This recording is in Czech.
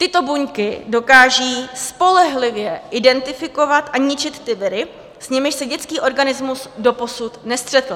Tyto buňky dokážou spolehlivě identifikovat a ničit ty viry, s nimiž se dětský organismus doposud nestřetl.